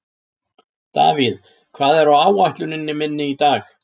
Davíð, hvað er á áætluninni minni í dag?